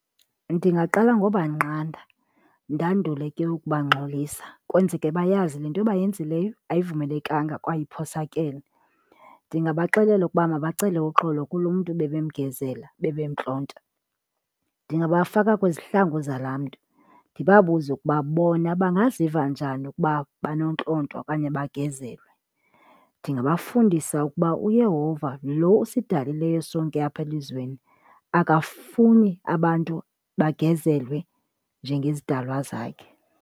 Ndingaqala ngobanqanda ndandule ke ukubangxolisa kwenzeke bayazi le nto bayenzileyo ayivumelekanga kwaye iphosakele. Ndingabaxelela ukuba mabacele uxolo kulo mntu bebemgezela bebemntlonta. Ndingabafaka kwizihlangu zalaa mntu ndibabuze ukuba bona bangaziva njani ukuba banontlontwa okanye bagezelwe. Ndingabafundisa ukuba uYehova lo usidalileyo sonke apha elizweni akafuni abantu bagezelwe njengezidalwa zakhe.